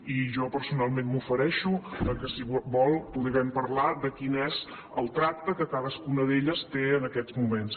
i jo personalment m’ofereixo al fet que si vol puguem parlar de quin és el tracte que cadascuna d’elles té en aquests moments